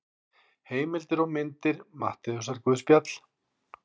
Heimildir og myndir Matteusarguðspjall.